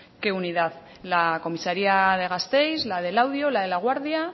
qué unidad la comisaría de gasteiz la de laudio la de laguardia